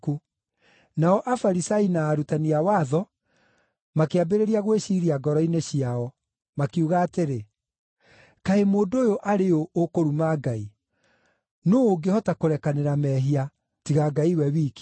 Nao Afarisai na arutani a watho makĩambĩrĩria gwĩciiria ngoro-inĩ ciao, makiuga atĩrĩ, “Kaĩ mũndũ ũyũ arĩ ũ, ũkũruma Ngai? Nũũ ũngĩhota kũrekanĩra mehia, tiga Ngai we wiki?”